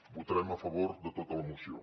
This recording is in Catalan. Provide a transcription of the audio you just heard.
votarem a favor de tota la moció